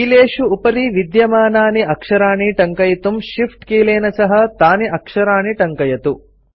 कीलेषु उपरि विद्यमानानि अक्षराणि टङ्कयितुं Shift कीलेन सह तानि अक्षराणि टङ्कयतु